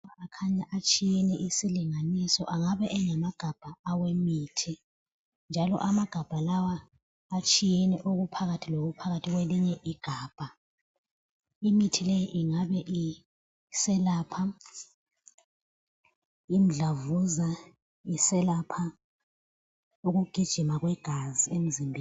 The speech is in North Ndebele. Lawa kukhanya atshiyeneyo isilinganiso engagaba engama gabha emithi njalo amagabha lawa atshiyeneyo okuphakathi lokuphakathi kwelinye igabha. Imithi leyi ingabe iselapha umdlavuza, iselapha ukugijima kwegazi emzimbeni.